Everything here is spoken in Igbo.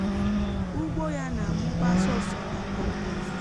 um ugbo ya nà amúbá sọ́sò na um kọ́mpost